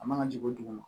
A man ka jigin duguma